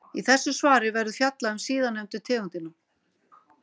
Í þessu svari verður fjallað um síðarnefndu tegundina.